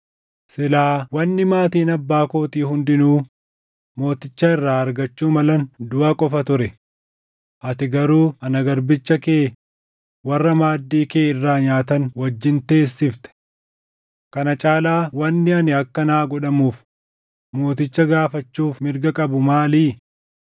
Silaa wanni maatiin abbaa kootii hundinuu mooticha irraa argachuu malan duʼa qofa ture. Ati garuu ana garbicha kee warra maaddii kee irraa nyaatan wajjin teessifte. Kana caalaa wanni ani akka naa godhamuuf mooticha gaafachuuf mirga qabu maalii?”